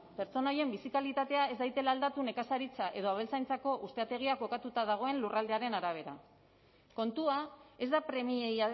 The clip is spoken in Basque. pertsona horien bizi kalitatea ez dadila aldatu nekazaritza eta abeltzaintzako ustiategiak kokatuta dagoen lurraldearen arabera kontua ez da premiei